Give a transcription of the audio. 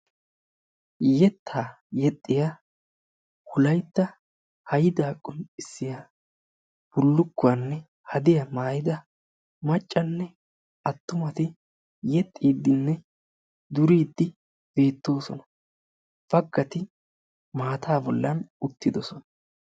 Yettaa yexxiya wolaytta haydaa qonccissiya bullukkuwanne hadiya maayida maccanne attumati yexxiiddinne duriiddi beettoosona. Baggati maataa bollan uttidosona.